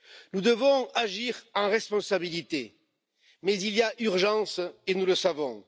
Nous devons agir en responsabilité, mais il y a urgence, et nous le savons.